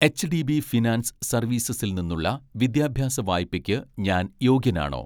HDB finance സർവീസസിൽ നിന്നുള്ള വിദ്യാഭ്യാസ വായ്പയ്ക്ക് ഞാൻ യോഗ്യനാണോ?